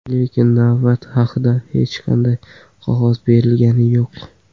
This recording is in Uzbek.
Lekin navbat haqida hech qanday qog‘oz berilgani yo‘q.